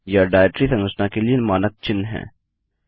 यह डाइरेक्टरी संरचना के लिए मानक चिन्ह हैं